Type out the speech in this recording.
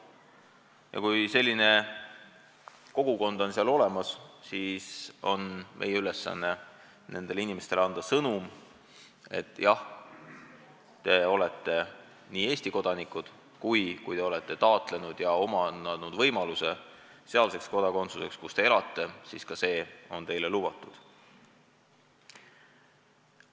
Ja kui selline kogukond on olemas, siis on meie ülesanne anda nendele inimestele sõnum, et jah, te olete Eesti kodanikud ning kui te olete saanud võimaluse saada selle riigi kodanikuks, kus te elate, siis ka see on teile lubatud.